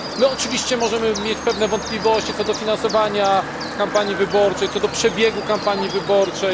My oczywiście możemy mieć pewne wątpliwości co do finansowania kampanii wyborczej, co do przebiegu kampanii wyborczej.